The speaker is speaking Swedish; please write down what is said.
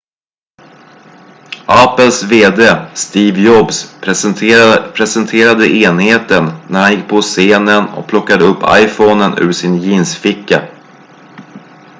apples vd steve jobs presenterade enheten när han gick gå på scenen och plockade upp iphonen ur sin jeansficka